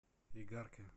игарке